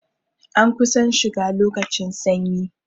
An kusan shiga lokacin sanyi